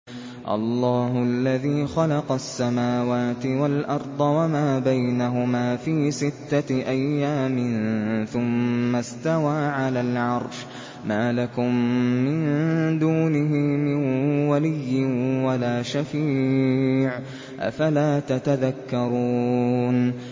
اللَّهُ الَّذِي خَلَقَ السَّمَاوَاتِ وَالْأَرْضَ وَمَا بَيْنَهُمَا فِي سِتَّةِ أَيَّامٍ ثُمَّ اسْتَوَىٰ عَلَى الْعَرْشِ ۖ مَا لَكُم مِّن دُونِهِ مِن وَلِيٍّ وَلَا شَفِيعٍ ۚ أَفَلَا تَتَذَكَّرُونَ